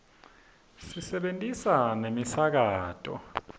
sisebentisa nemisakato